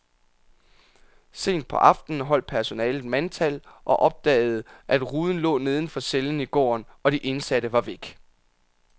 Sent på aftenen holdt personalet mandtal og opdagede, at ruden lå neden for cellen i gården, og de indsatte var væk.